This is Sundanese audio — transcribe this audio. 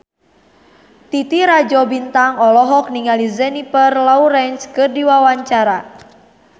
Titi Rajo Bintang olohok ningali Jennifer Lawrence keur diwawancara